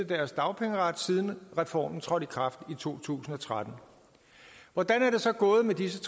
deres dagpengeret siden reformen trådte i kraft i to tusind og tretten hvordan er det så gået med disse